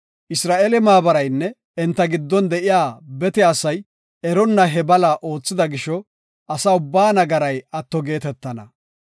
Isra7eele maabaraynne enta giddon de7iya bete asay eronna he bala oothida gisho asa ubbaa nagaray atto geetetana.